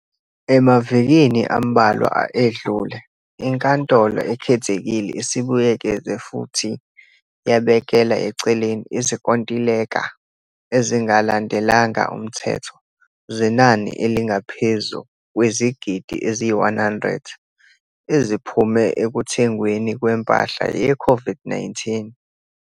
Emavikini ambalwa edlule, iNkantolo Ekhethekile isibuyekeze futhi yabekela eceleni izinkontileka ezingalandelanga umthetho zenani elingaphezu kwezigidi eziyi-R100 eziphume ekuthengweni kwempahla yeCOVID-19.